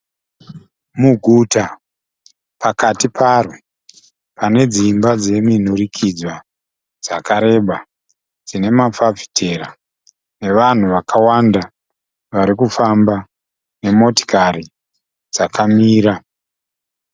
Muguta pakati paro, pane dzimba dzeminhurikidzwa dzakareba dzinemafafitera nevanhu vakawanda varikufamba nemotikari dzakamira.